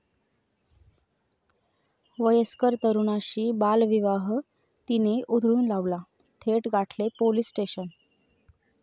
वयस्कर तरुणाशी बालविवाह 'ती'ने उधळून लावला, थेट गाठले पोलीस स्टेशन!